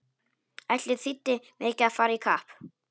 Ætli þýddi mikið að fara í kapp!